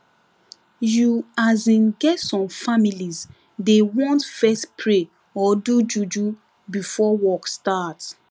you asin get some families dey want fess pray or do juju before work start